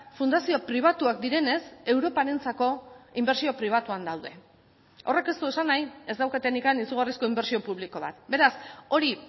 fundazio pribatuak direnez europarentzako inbertsio pribatuan daude horrek ez du esan nahi ez daukatenik izugarrizko inbertsio publiko bat beraz hori